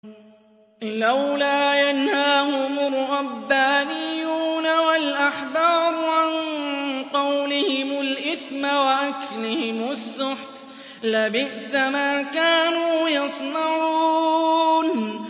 لَوْلَا يَنْهَاهُمُ الرَّبَّانِيُّونَ وَالْأَحْبَارُ عَن قَوْلِهِمُ الْإِثْمَ وَأَكْلِهِمُ السُّحْتَ ۚ لَبِئْسَ مَا كَانُوا يَصْنَعُونَ